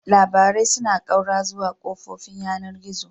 Labarai suna ƙaura zuwa kafofin yanar gizo.